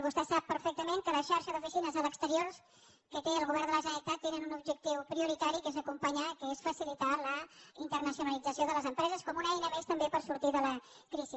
vostè sap perfectament que la xarxa d’oficines a l’exterior que té el govern de la generalitat té un objectiu prioritari que és acompanyar que és facilitar la internacionalització de les empreses com una eina més també per sortir de la crisi